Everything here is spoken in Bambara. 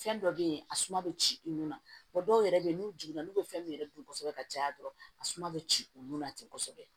Fɛn dɔ be yen a suma bɛ ci i nun na dɔw yɛrɛ be yen n'u jiginna n'u be fɛn min yɛrɛ dun kosɛbɛ ka caya dɔrɔn a suma be ci olu na ten kosɛbɛ